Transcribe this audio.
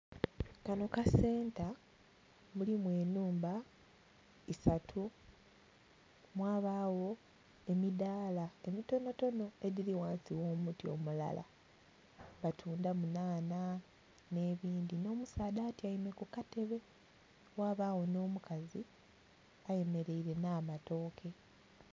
Kanho kasenta mulimu enhumba isatu mwabagho emidhala mitontono edhili ghansi gho muti omulala. Batundhamu nhanha nhe bindhi nho musaadha atyaime ku katebe ghabagho nho mukazi ayemereire nha matoke.